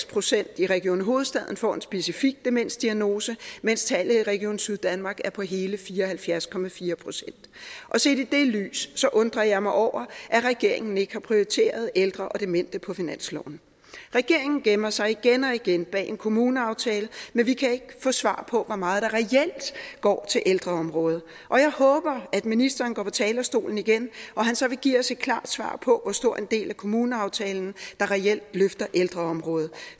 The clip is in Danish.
procent i region hovedstaden får en specifik demensdiagnose mens tallet i region syddanmark er på hele fire og halvfjerds procent set i det lys undrer jeg mig over at regeringen ikke har prioriteret ældre og demente på finansloven regeringen gemmer sig igen og igen bag en kommuneaftale men vi kan ikke få svar på hvor meget der reelt går til ældreområdet og jeg håber at ministeren går på talerstolen igen og at han så vil give os et klart svar på hvor stor en del af kommuneaftalen der reelt løfter ældreområdet